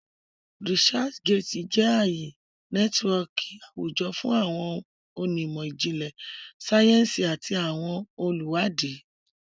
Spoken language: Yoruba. ResearchGate jẹ aaye nẹtiwọọki awujọ fun awọn onimo ijinlẹ sayensi ati awọn oluwadi.